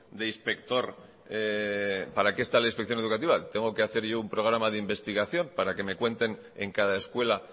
de inspector para qué está la inspección educativa tengo que hacer yo un programa de investigación para que me cuenten en cada escuela